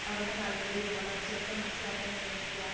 പഠന താൽപര്യവും വളർച്ചയുമൊക്കെ മനസ്സിലാക്കാൻ ശ്രമിക്യാ